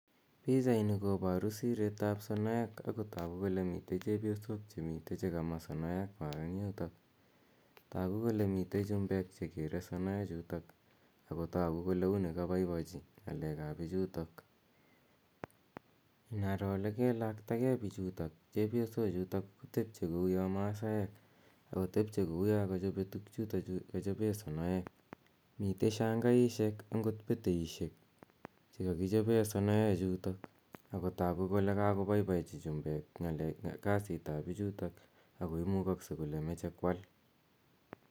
Pichaini koparu sireet ap sonoek ako tagu kole mitei che kama sonoekwak eng' yutok. Tagu kole mitei chumbek che kere sonoechutok ako tagu kole uni kapaipachi ng'alek ap pichutok. Inaro ole kelakta gei pichutok, chepyosochutok, ko tepche kouya Masaek ako tepche kouya kachope tugchutachu kachope sonoek. Mitei shangaishek angot peteishek che kakichope sonoechutok ako tagu kole kakopaipachi chumbek kasiit ap pichutok ako imukakse kole mache koal.